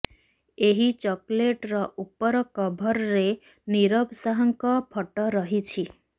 ଏହି ଚକୋଲେଟର ଉପର କଭରରେ ନୀରବ ଶାହଙ୍କ ଫଟୋ ରହିଛି